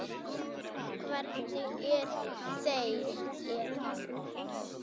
Hverjir eru þeir?